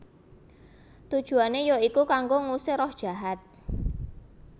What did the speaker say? Tujuané ya iku kanggo ngusir roh jahat